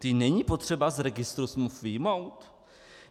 Ty není potřeba z registru smluv vyjmout?